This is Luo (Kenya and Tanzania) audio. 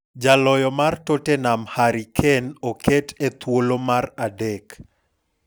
Jaloyo mar Tottenham Harry Kane okete e thuolo mar adek.